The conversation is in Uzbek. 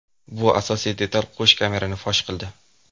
Bu asosiy detal qo‘sh kamerani fosh qildi.